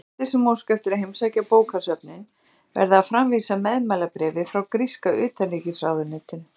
Gestir sem óska eftir að heimsækja bókasöfnin verða að framvísa meðmælabréfi frá gríska utanríkisráðuneytinu.